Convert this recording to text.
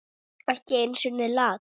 Ekki einu sinni Lat.